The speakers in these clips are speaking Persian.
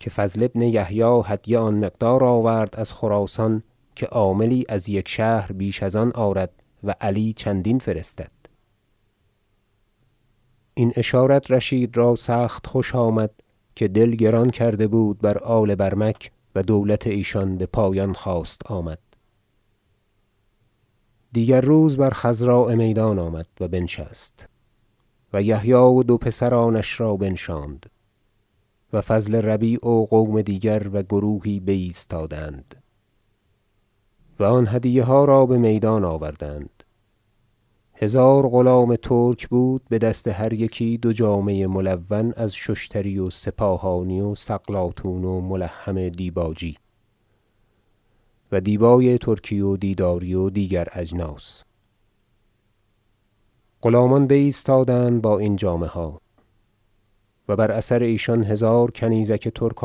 که فضل بن یحیی هدیه آن مقدار آورد از خراسان که عاملی از یک شهر بیش از آن آرد و علی چندین فرستد این اشارت رشید را سخت خوش آمد که دل گران کرده بود بر آل برمک و دولت ایشان بپایان خواست آمد دیگر روز بر خضراء میدان آمد و بنشست و یحیی و دو پسرانش را بنشاند و فضل ربیع و قوم دیگر و گروهی بایستادند و آن هدیه ها را بمیدان آوردند هزار غلام ترک بود بدست هر یکی دو جامه ملون از ششتری و سپاهانی و سقلاطون و ملحم دیباجی و دیبای ترکی و دیداری و دیگر اجناس غلامان بایستادند با این جامه ها و بر اثر ایشان هزار کنیزک ترک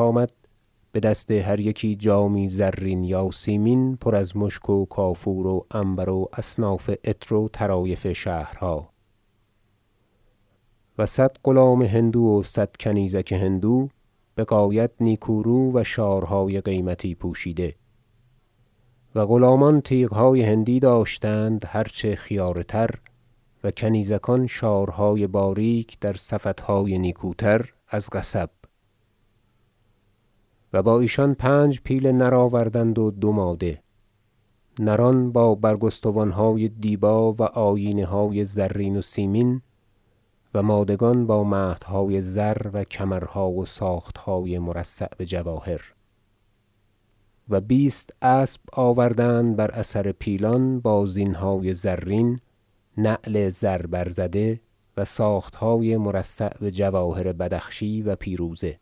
آمد بدست هر یکی جامی زرین یا سیمین پر از مشک و کافور و عنبر و اصناف عطر و طرایف شهرها و صد غلام هندو و صد کنیزک هندو بغایت نیکو رو و شارهای قیمتی پوشیده و غلامان تیغهای هندوی داشتند هر چه خیاره تر و کنیزکان شارهای باریک در سفطهای نیکوتر از قصب و با ایشان پنج پیل نر آوردند و دو ماده نران با برگستوانهای دیبا و آیینه های زرین و سیمین و مادگان با مهدهای زر و کمرها و ساختهای مرصع بجواهر و بیست اسب آوردند بر اثر پیلان با زینهای زرین نعل زر برزده و ساختهای مرصع بجواهر بدخشی و پیروزه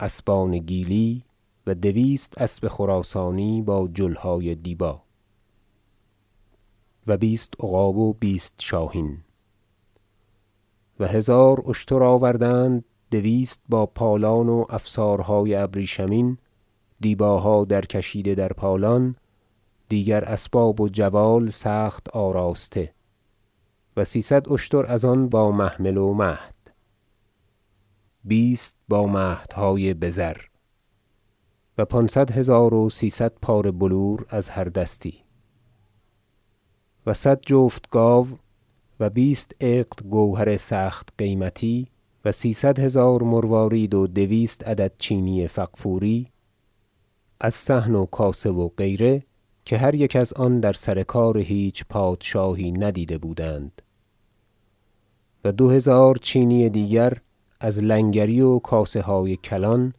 اسبان گیلی و دویست اسب خراسانی با جلهای دیبا و بیست عقاب و بیست شاهین و هزار اشتر آوردند دویست با پالان و افسارهای ابریشمین دیباها درکشیده در پالان دیگر اسباب و جوال سخت آراسته و سیصد اشتر از آن با محمل و مهد و بیست با مهدهای بزر و پانصد هزار و سیصد پاره بلور از هر دستی و صد جفت گاو و بیست عقد گوهر سخت قیمتی و سیصد هزار مروارید و دویست عدد چینی فغفوری از صحن و کاسه و غیره که هر یک از آن در سر کار هیچ پادشاهی ندیده بودند و دو هزار چینی دیگر از لنگری و کاسه های کلان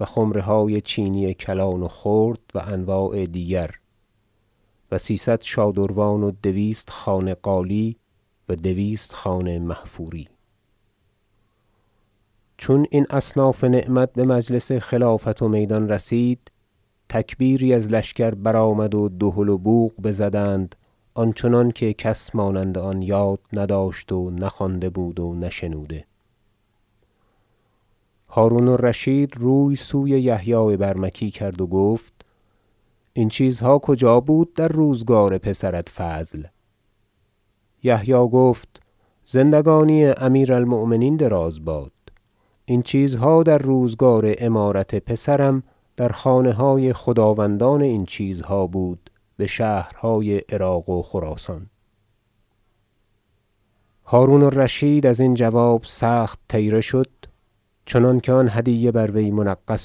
و خمره های چینی کلان و خرد و انواع دیگر و سیصد شادروان و دویست خانه قالی و دویست خانه محفوری چون این اصناف نعمت بمجلس خلافت و میدان رسید تکبیری از لشکر برآمد و دهل و بوق بزدند آن چنانکه کس مانند آن یاد نداشت و نخوانده بود و نشنوده هرون الرشید روی سوی یحیی برمکی کرد و گفت این چیزها کجا بود در روزگار پسرت فضل یحیی گفت زندگانی امیر المؤمنین دراز باد این چیزها در روزگار امارت پسرم در خانه های خداوندان این چیزها بود بشهرهای عراق و خراسان هرون الرشید ازین جواب سخت طیره شد چنانکه آن هدیه بر وی منغص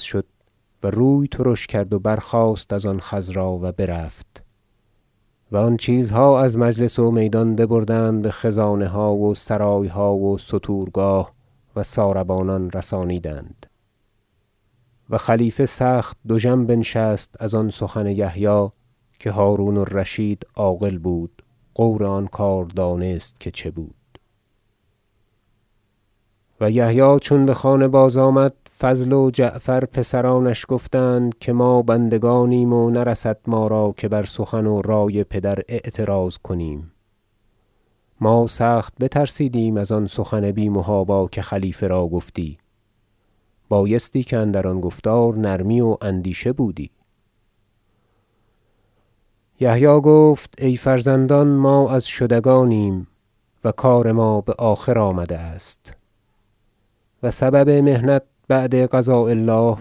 شد و روی ترش کرد و برخاست از آن خضرا و برفت و آن چیزها از مجلس و میدان ببردند بخزانه ها و سرایها و ستورگاه و ساربانان رسانیدند و خلیفه سخت دژم بنشست از آن سخن یحیی که هرون الرشید عاقل بود غور آن دانست که چه بود و یحیی چون بخانه بازآمد فضل و جعفر پسرانش گفتند که ما بندگانیم و نرسد ما را که بر سخن و رای پدر اعتراض کنیم ما سخت بترسیدیم از آن سخن بی محابا که خلیفه را گفتی بایستی که اندر آن گفتار نرمی و اندیشه بودی یحیی گفت ای فرزندان ما از شدگانیم و کار ما بآخر آمده است و سبب محنت بعد قضاء الله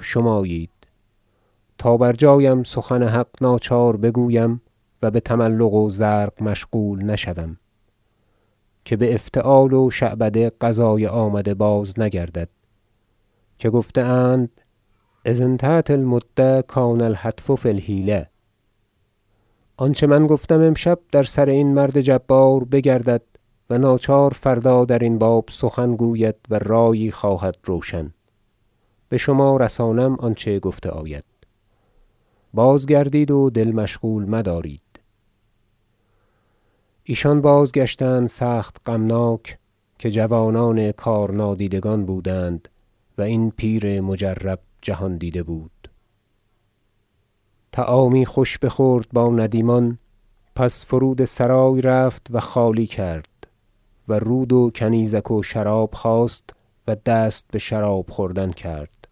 شمایید تا برجایم سخن حق ناچار بگویم و بتملق و زرق مشغول نشوم که بافتعال و شعبده قضای آمده بازنگردد که گفته اند اذا انتهت المدة کان الحتف فی الحیلة آنچه من گفتم امشب در سر این مرد جبار بگردد و ناچار فردا درین باب سخن گوید و رایی خواهد روشن بشما رسانم آنچه گفته آید بازگردید و دل مشغول مدارید ایشان بازگشتند سخت غمناک که جوانان کارنادیدگان بودند و این پیر مجرب جهاندیده بود طعامی خوش بخورد با ندیمان پس فرود سرای رفت و خالی کرد و رود و کنیزک و شراب خواست و دست بشراب خوردن کرد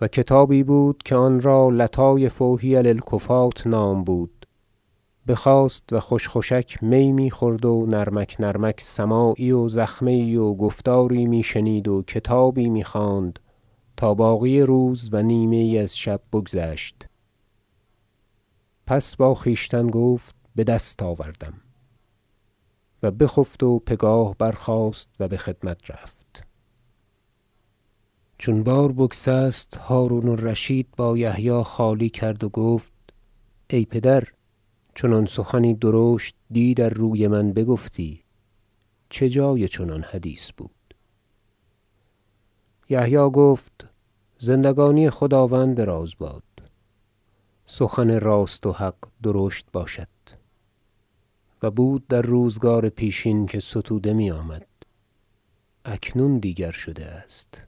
و کتابی بود که آنرا لطایف حیل الکفاة نام بود بخواست و خوشک خوشک می میخورد و نرمک نرمک سماعی و زخمه یی و گفتاری می شنید و کتاب میخواند تا باقی روز و نیمه یی از شب بگذشت پس با خویشتن گفت بدست آوردم و بخفت و پگاه برخاست و بخدمت رفت چون بار بگسست هرون الرشید با یحیی خالی کرد و گفت ای پدر چنان سخنی درشت دی در روی من بگفتی چه جای چنان حدیث بود یحیی گفت زندگانی خداوند دراز باد سخن راست و حق درشت باشد و بود در روزگار پیشین که ستوده میآمد اکنون دیگر شده است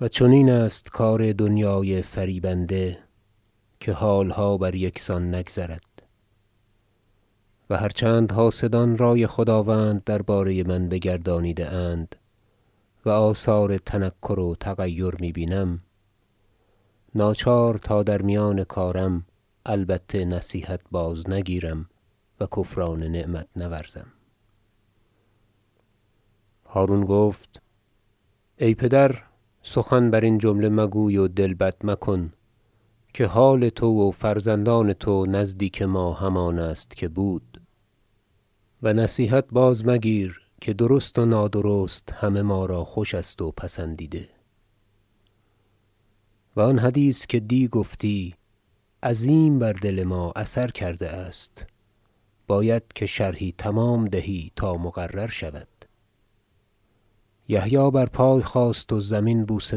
و چنین است کار دنیای فریبنده که حالها بر یک سان نگذارد و هر چند حاسدان رای خداوند درباره من بگردانیده اند و آثار تنکر و تغیر می بینم ناچار تا در میان کارم البته نصیحت بازنگیرم و کفران نعمت نورزم هرون گفت ای پدر سخن برین جمله مگوی و دل بد مکن که حال تو و فرزندان تو نزدیک ما همان است که بود و نصیحت بازمگیر که درست و نادرست همه ما را خوش است و پسندیده و آن حدیث که دی گفتی عظیم بر دل ما اثر کرده است باید که شرحی تمام دهی تا مقرر شود یحیی بر پای خاست و زمین بوسه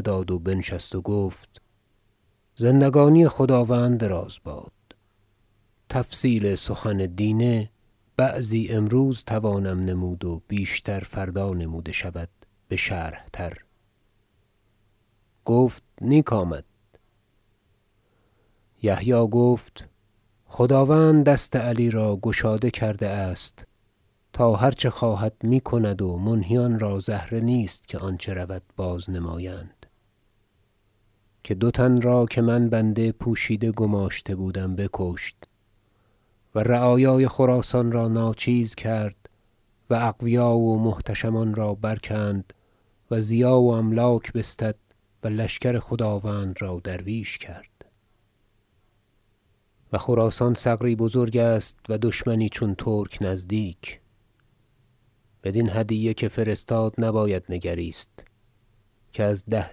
داد و بنشست و گفت زندگانی خداوند دراز باد تفصیل سخن دینه بعضی امروز توانم نمود و بیشتر فردا نموده شود بشرح تر گفت نیک آمد یحیی گفت خداوند دست علی را گشاده کرده است تا هر چه خواهد میکند و منهیان را زهره نیست که آنچه رود باز- نمایند که دو تن را که من بنده پوشیده گماشته بودم بکشت و رعایای خراسان را ناچیز کرد و اقویا و محتشمان را برکند و ضیاع و املاک بستد و لشکر خداوند را درویش کرد و خراسان ثغری بزرگ است و دشمنی چون ترک نزدیک بدین هدیه که فرستاد نباید نگریست که از ده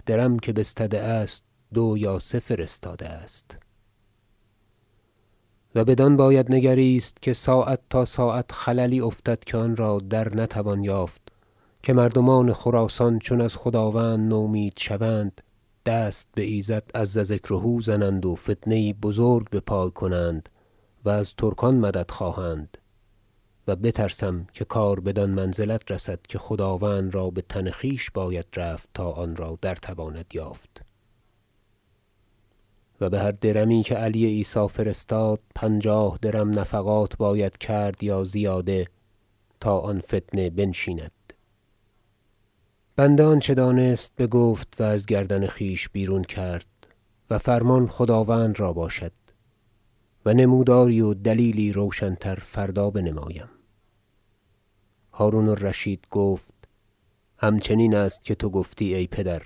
درم که بستده است دو یا سه فرستاده است و بدان باید نگریست که ساعت تا ساعت خللی افتد که آنرا در نتوان یافت که مردمان خراسان چون از خداوند نومید شوند دست بایزد عز ذکره زنند و فتنه یی بزرگ بپای کنند و از ترکان مدد خواهند و بترسم که کار بدان منزلت رسد که خداوند را بتن خویش باید رفت تا آنرا در تواند یافت و بهر درمی که علی عیسی فرستاد پنجاه درم نفقات باید کرد یا زیاده تا آن فتنه بنشیند بنده آنچه دانست بگفت و از گردن خویش بیرون کرد و فرمان خداوند را باشد و نموداری و دلیلی روشن تر فردا بنمایم هرون الرشید گفت همچنین است که تو گفتی ای پدر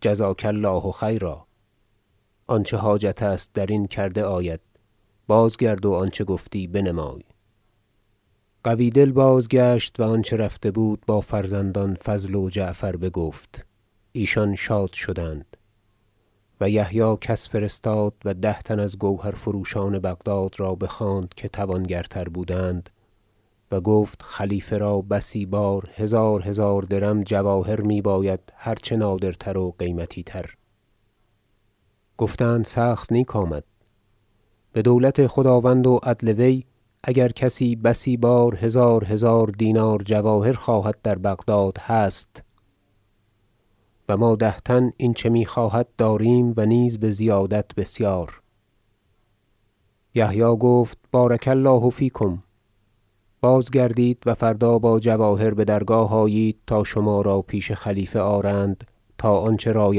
جزاک الله خیرا آنچه حاجت است درین کرده آید بازگرد و آنچه گفتی بنمای قوی دل بازگشت و آنچه رفته بود با فرزندان فضل و جعفر بگفت ایشان شاد شدند و یحیی کس فرستاد و ده تن از گوهرفروشان بغداد را بخواند که توانگرتر بودند و گفت خلیفه را بسی بار هزار هزار درم جواهر میباید هر چه نادرتر و قیمتی تر گفتند سخت نیک آمد بدولت خداوند و عدل وی اگر کسی بسی بار هزار هزار دینار جواهر خواهد در بغداد هست و ما ده تن این چه میخواهد داریم و نیز بزیادت بسیار یحیی گفت بارک الله فیکم بازگردید و فردا با جواهر بدرگاه آیید تا شما را پیش خلیفه آرند تا آنچه رای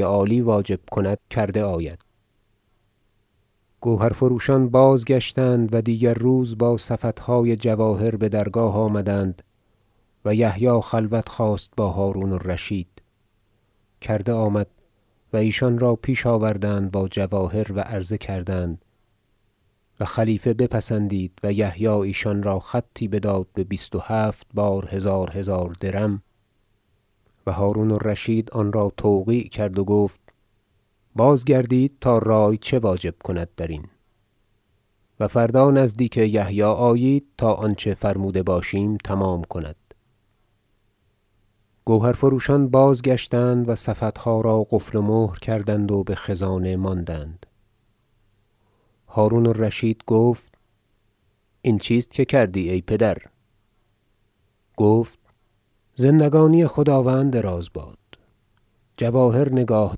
عالی واجب کند کرده آید گوهرفروشان بازگشتند و دیگر روز با سفطهای جواهر بدرگاه آمدند و یحیی خلوت خواست با هرون الرشید کرده آمد و ایشان را پیش آوردند با جواهر و عرضه کردند و خلیفه بپسندید و یحیی ایشان را خطی بداد به بیست و هفت بار هزار هزار درم و هرون الرشید آنرا توقیع کرد و گفت بازگردید تا رای چه واجب کند درین و فردا نزدیک یحیی آیید تا آنچه فرموده باشیم تمام کند گوهرفروشان بازگشتند و سفطها را قفل و مهر کردند و بخزانه ماندند هرون الرشید گفت این چیست که کردی ای پدر گفت زندگانی خداوند دراز باد جواهر نگاه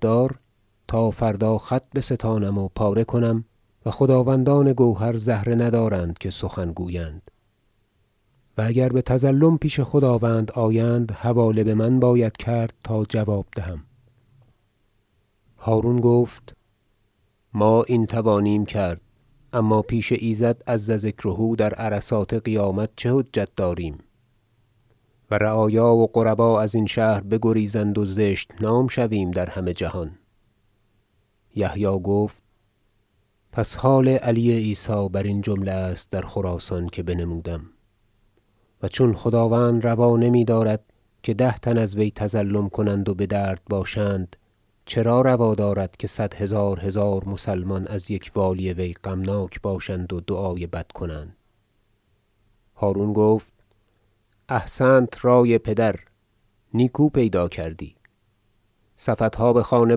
دار تا فردا خط بستانم و پاره کنم و خداوندان گوهر زهره ندارند که سخن گویند و اگر بتظلم پیش خداوند آیند حواله بمن باید کرد تا جواب دهم هرون گفت ما این توانیم کرد اما پیش ایزد عز ذکره در عرصات قیامت چه حجت آریم و رعایا و غربا ازین شهر بگریزند و زشت نام شویم در همه جهان یحیی گفت پس حال علی عیسی برین جمله است در خراسان که بنمودم و چون خداوند روا نمیدارد که ده تن از وی تظلم کنند و بدرد باشند چرا روا دارد که صد هزار هزار مسلمان از یک والی وی غمناک باشند و دعای بد کنند هرون گفت احسنت ای پدر نیکو پیدا کردی سفطها بخانه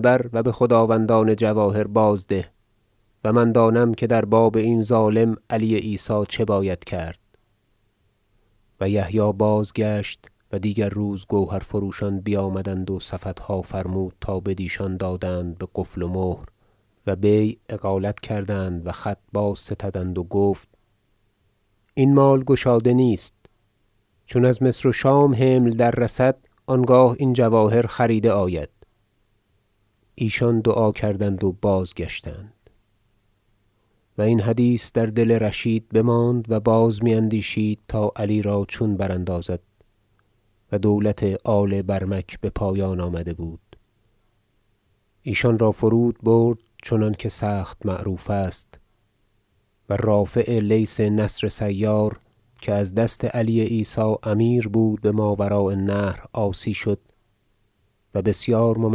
بر و بخداوندان جواهر بازده و من دانم که در باب این ظالم علی عیسی چه باید کرد و یحیی بازگشت و دیگر روز گوهرفروشان بیامدند و سفطها فرمود تا بدیشان بازدادند بقفل و مهر و بیع اقالت کردند و خط بازستدند و گفت این مال گشاده نیست چون از مصر و شام حمل دررسد آنگاه این جواهر خریده آید ایشان دعا کردند و بازگشتند و این حدیث در دل رشید بماند و باز میاندیشید تا علی را چون براندازد و دولت آل برمک بپایان آمده بود ایشان را فرود برد چنانکه سخت معروف است و رافع لیث نصر سیار که از دست علی عیسی امیر بود بماوراء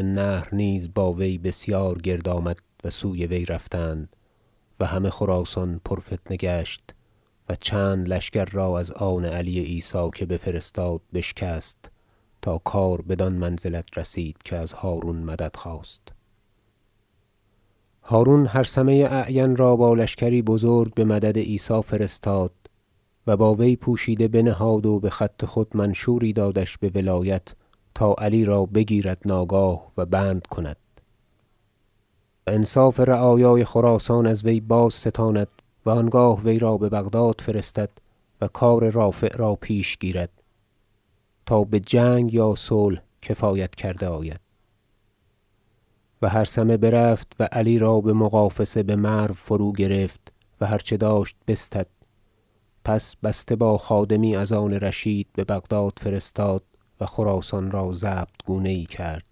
النهر نیز با وی بسیار گرد آمد و سوی وی رفتند و همه خراسان پرفتنه گشت و چند لشکر را از آن علی عیسی که بفرستاد بشکست تا کار بدان منزلت رسید که از هرون مدد خواست هرون هرثمه اعین را با لشکری بزرگ بمدد عیسی فرستاد و با وی پوشیده بنهاد و بخط خود منشوری دادش بولایت تا علی را بگیرد ناگاه و بند کند و انصاف رعایای خراسان از وی بازستاند و آنگاه وی را ببغداد فرستد و کار رافع را پیش گیرد تا بجنگ یا صلح کفایت کرده آید و هرثمه برفت و علی را بمغافصه بمرو فروگرفت و هر چه داشت بستد سپس بسته با خادمی از آن رشید ببغداد فرستاد و خراسان را ضبط گونه یی کرد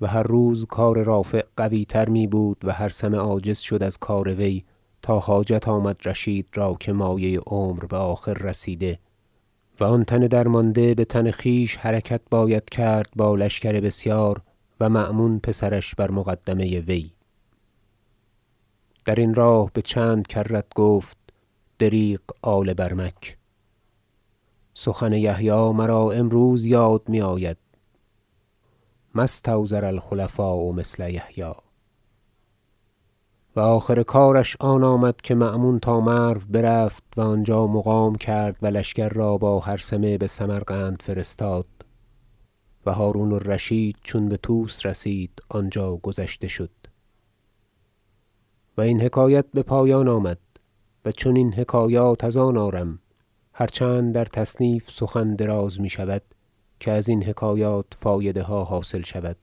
و هر روز کار رافع قویتر میبود و هرثمه عاجز شد از کار وی تا حاجت آمد رشید را که مایه عمر بآخر رسیده و آن تن درمانده بتن خویش حرکت باید کرد با لشکر بسیار و مأمون پسرش بر مقدمه وی درین راه بچند کرت گفت دریغ آل برمک سخن یحیی مرا امروز یاد میآید ما استوزر الخلفاء مثل یحیی و آخر کارش آن آمد که مأمون تا مرو برفت و آنجا مقام کرد و لشکر را با هرثمه بسمرقند فرستاد و هرون الرشید چون بطوس رسید آنجا گذشته شد و این حکایت بپایان آمد و چنین حکایات از آن آرم هر چند در تصنیف سخن دراز میشود که ازین حکایات فایده ها حاصل شود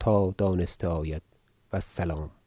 تا دانسته آید و السلام